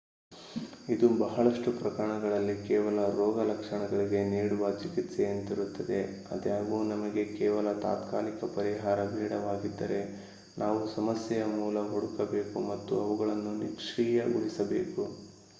ಇದು ಬಹಳಷ್ಟು ಪ್ರಕರಣಗಳಲ್ಲಿ ಕೇವಲ ರೋಗ ಲಕ್ಷಣಗಳಿಗೆ ನೀಡುವ ಚಿಕಿತ್ಸೆಯಂತಿರುತ್ತದೆ ಅದಾಗ್ಯೂ ನಮಗೆ ಕೇವಲ ತಾತ್ಕಾಲಿಕ ಪರಿಹಾರ ಬೇಡವಾಗಿದ್ದರೆ ನಾವು ಸಮಸ್ಯೆಯ ಮೂಲ ಹುಡುಕಬೇಕು ಮತ್ತು ಅವುಗಳನ್ನು ನಿಷ್ಕ್ರಿಯ ಗೊಳಿಸಬೇಕು